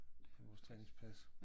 Med vores træningspas